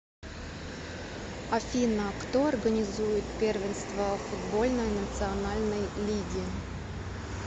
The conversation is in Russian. афина кто организует первенство футбольной национальной лиги